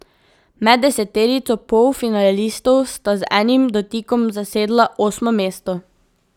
Med deseterico polfinalistov sta z enim dotikom zasedla osmo mesto.